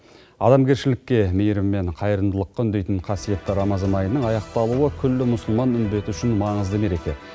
адамгершілікке мейірім мен қайырымдылыққа үндейтін қасиетті рамазан айының аяқталуы күллі мұсылман үмбеті үшін маңызды мереке